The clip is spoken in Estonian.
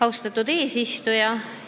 Austatud eesistuja!